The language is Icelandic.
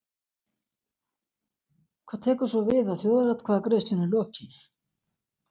Heimir Már Pétursson: Hvað tekur svo við að þjóðaratkvæðagreiðslunni lokinni?